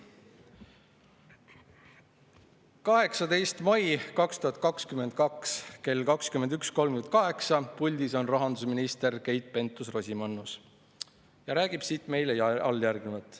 On 18. mai 2022 kell 21.38, puldis on rahandusminister Keit Pentus-Rosimannus ja räägib meile alljärgnevat.